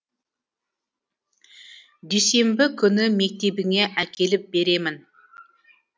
дүйсенбі күні мектебіңе әкеліп беремін